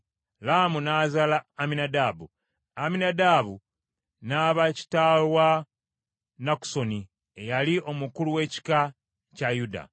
Laamu n’azaala Amminadaabu, Amminadaabu n’aba kitaawe n’azaala Nakusoni, eyali omukulu w’ekika kya Yuda.